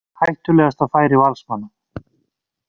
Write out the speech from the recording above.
Hættulegasta færi Valsmanna.